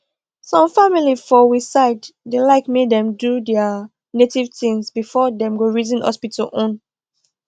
some family for we side da like make dem do their native things before them go reason hospital own